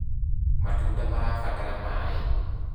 matunda marabatara maĩ